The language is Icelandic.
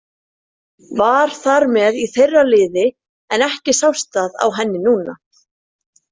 Var þar með í þeirra liði en ekki sást það á henni núna.